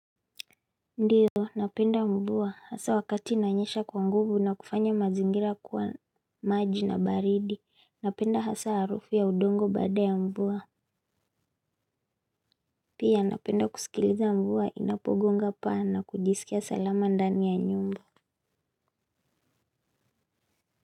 Ndio, napenda mvua hasa wakati inanyesha kwa nguvu na kufanya mazingira kwa maji na baridi. Napenda hasa harufu ya udongo baada ya mvua. Pia napenda kusikiliza mvua inapogonga paa na kujisikia salama ndani ya nyumba.